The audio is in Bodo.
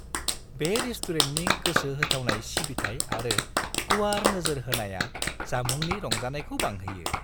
बे रेस्टुरेन्टनि गोसो होथाबनाय सिबिथाइ आरो गुवार नोजोर होनाया जामुंनि रंजानायखौ बांहोयो।